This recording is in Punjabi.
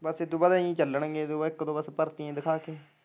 ਬਸ ਇਦੇ ਤੋਂ ਬਾਅਦ ਇਹੀ ਚੱਲਣਗੇ, ਇੱਕ ਤੋਂ, ਇੱਕ ਤੋਂ ਵੱਧ ਭਰਤੀਆ ਦਿਖਾ ਕੇ।